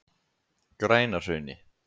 Grænahrauni